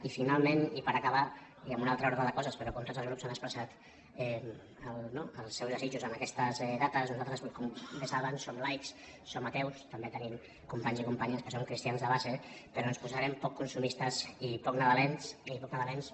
i finalment i per acabar i en un altre ordre de coses però com tots els grups han expressat els seus desitjos en aquestes dates nosaltres com bé saben som laics som ateus també tenim companys i companyes que són cristians de base però ens posarem poc consumistes i poc nadalencs i poc nadalencs